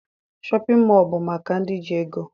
Shọpịn mọọ bụ maka ndị ji ego